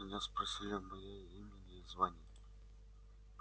меня спросили о моей имени и звании